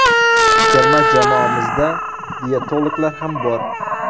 Terma jamoamizda diyetologlar ham bor.